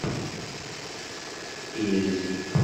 эльзе